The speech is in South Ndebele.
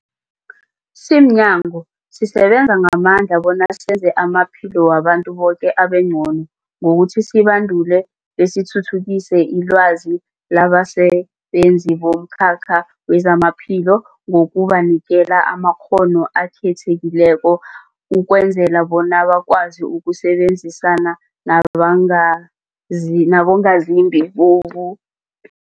Simnyango, sisebenza ngamandla bona senze amaphilo wabantu boke abengcono ngokuthi sibandule besithuthukise ilwazi labasebenzi bomkhakha wezamaphilo ngokubanikela amakghono akhethekileko ukwenzela bona bakwazi ukusebenzisana nabangazi nabongazimbi bobu